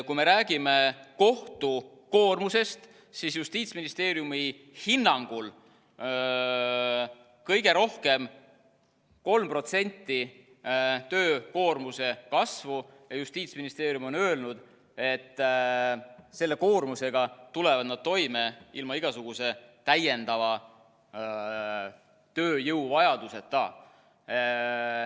Kui me räägime kohtu koormusest, siis Justiitsministeeriumi hinnangul on kõige rohkem 3% töökoormuse kasvu, ja Justiitsministeerium on öelnud, et selle koormusega tulevad nad toime ilma igasuguse täiendava tööjõu vajaduseta.